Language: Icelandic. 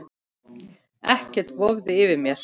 Ekkert vofði yfir mér.